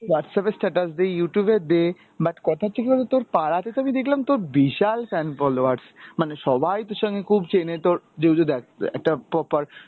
Whtasapp এ status দে, Youtube এ দে but কথা হচ্ছে কি বলতো তোর, পাড়াতে তো আমি দেখলাম তোর বিশাল fan followers. মানে সবাই তোর সঙ্গে খুব চেনে তোর দেখ একটা propoer